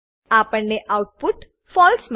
આપણને આઉટપુટ ફળસે